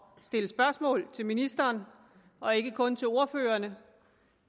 stille spørgsmål til ministeren og ikke kun til ordførerne